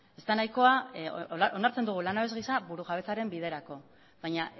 ez da nahikoa onartzen dugu langabez gisa burujabetzaren biderako baina